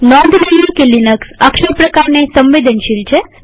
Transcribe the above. નોંધ લઈએ કે લિનક્સ અક્ષર પ્રકારસાદા કે કેપિટલસંવેદનશીલ છે